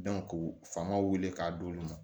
k'u fanga wele k'a d'olu ma